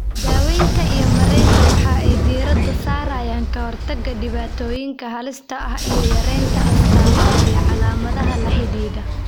Daawaynta iyo maaraynta waxa ay diiradda saarayaan ka hortagga dhibaatooyinka halista ah iyo yaraynta astamaha iyo calaamadaha la xidhiidha.